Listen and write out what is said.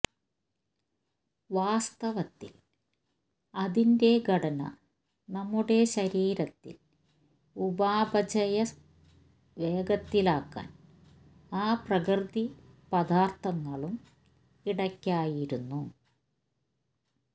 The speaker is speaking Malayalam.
വാസ്തവത്തിൽ അതിന്റെ ഘടന നമ്മുടെ ശരീരത്തിൽ ഉപാപചയ വേഗത്തിലാക്കാൻ ആ പ്രകൃതി പദാർത്ഥങ്ങളും ഇടയ്ക്കായിരുന്നു